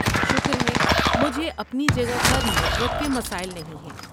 شکر ہے، مجھے اپنی جگہ پر نیٹ ورک کے مسائل نہیں ہیں۔